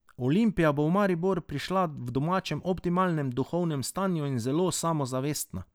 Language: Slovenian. Olimpija bo v Maribor prišla v domala optimalnem duhovnem stanju in zelo samozavestna.